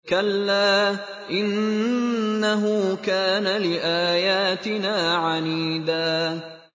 كَلَّا ۖ إِنَّهُ كَانَ لِآيَاتِنَا عَنِيدًا